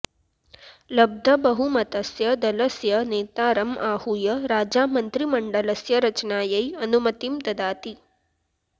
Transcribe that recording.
लब्धबहुमतस्य दलस्य नेतारम् आहूय राजा मन्त्रिमण्डलस्य रचनायै अनुमतिं ददाति